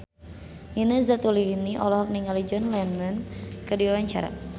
Nina Zatulini olohok ningali John Lennon keur diwawancara